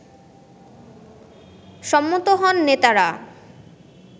সম্মত হন নেতারা